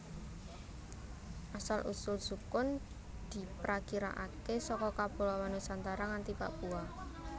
Asal usul sukun diprakirakaké saka kapuloan Nusantara nganti Papua